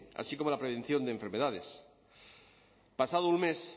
así como la prevención de enfermedades pasado un mes